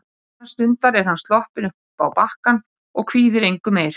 Innan stundar er hann sloppinn uppá bakkann og kvíðir engu meir.